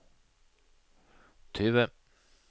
tyve